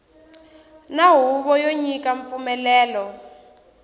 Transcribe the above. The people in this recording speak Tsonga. na huvo yo nyika mpfumelelo